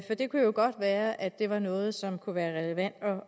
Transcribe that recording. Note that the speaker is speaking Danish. det kunne jo godt være at det var noget som kunne være relevant